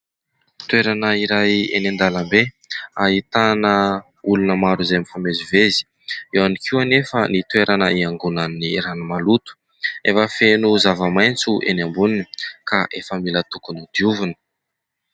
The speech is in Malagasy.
Toerana iray eny an-dalambe, ahitana olona maro izay mifamezivezy. Eo ihany koa nefa ny toerana hiangonan'ny rano maloto, efa feno zavamaitso eny amboniny ka efa mila tokony hodiovina.